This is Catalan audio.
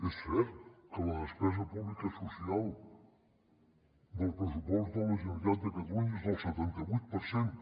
és cert que la despesa pública social del pressupost de la generalitat de catalunya és del setanta vuit per cent